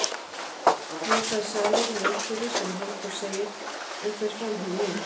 Nú hlær salurinn að einhverju sem Halldór segir en fer framhjá mér.